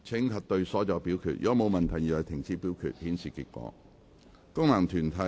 如果沒有問題，現在停止表決，顯示結果。